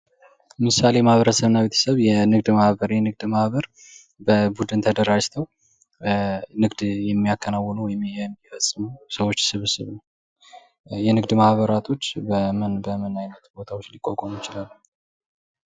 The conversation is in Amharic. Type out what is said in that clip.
ምሳሌ ማህበረሰብ እና ቤተሰብ የንግድ ማህበር የንግድ ማበር በቡድን ታደራጅተው ንግድ የሚያከናውኑ ወይም የሚፈጽሙ ሰዎች ስብስብ ነው። የንግድ ማህበራቶች በምን በምን አይነት ቦታዎች ሊቋቋሙ ይችላሉ?